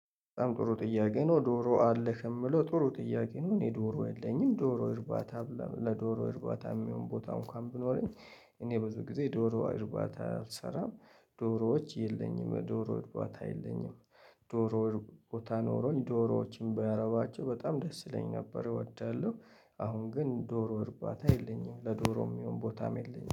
በጣም ጥሩ ጥያቄ ነው ዶሮ አለህ የሚለው ጥሩ ጥያቄ ነው። እኔ ዶሮ የለኝም ዶሮ እርባታ ለዶሮ እርባታ የሚሆን ቦታ እንኳን ቢኖረኝ እኔ ብዙ ጊዜ ዶሮ እርባታ አልሰራም ዶሮዎች የለኝም ዶሮ ወጥቧታ የለኝም፣ ዶሮ ቦታ ኖሮኝ ዶሮዎችን ቢያረባቸው በጣም ደስ ይለኛል ነበር እወዳለሁ አሁን ግን ዶሮ እርባታ የለኝም ለዶሮም የሚሆን ቦታም የለኝም።